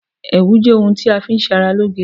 ẹwù jẹ òun tá fi n ṣe ará lo'ge